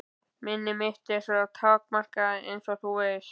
Minni mitt er svo takmarkað einsog þú veist.